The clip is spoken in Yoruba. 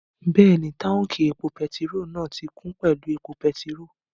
Bẹ́ẹ̀ni, táùnkì epo pẹtirólù náà ti kún pẹ̀lú epo pẹtirólù